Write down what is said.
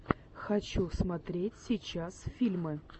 хочу смотреть сейчас фильмы